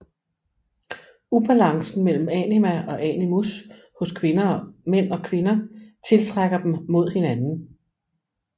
Ubalancen mellem anima og animus hos mænd og kvinder tiltrækker dem mod hinanden